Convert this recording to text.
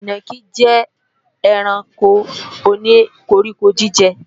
Ìnàkí jẹ́ ẹranko o ní koríko-jíjẹ